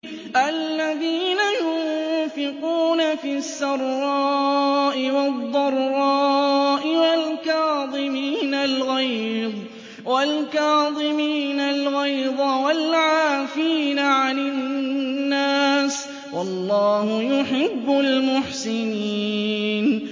الَّذِينَ يُنفِقُونَ فِي السَّرَّاءِ وَالضَّرَّاءِ وَالْكَاظِمِينَ الْغَيْظَ وَالْعَافِينَ عَنِ النَّاسِ ۗ وَاللَّهُ يُحِبُّ الْمُحْسِنِينَ